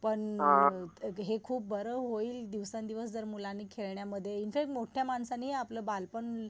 पण हे खूप बार होईल दिवसेन दिवस जर मुलांनी खेळण्यामध्ये इनफॅक्ट मोठ्या माणसानि आपलं बालपण